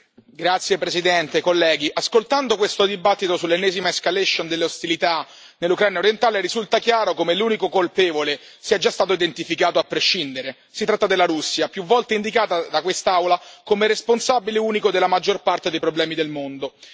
Signora Presidente, onorevoli colleghi, ascoltando questo dibattito sull'ennesima escalation delle ostilità nell'Ucraina orientale, risulta chiaro come l'unico colpevole sia già stato identificato a prescindere. Si tratta della Russia, più volte indicata da quest'Aula come responsabile unico della maggior parte dei problemi del mondo.